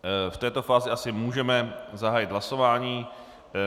V této fázi asi můžeme zahájit hlasování.